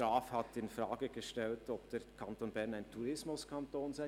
Graf hat infrage gestellt, ob der Kanton Bern ein Tourismuskanton sei.